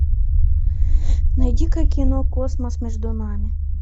найди ка кино космос между нами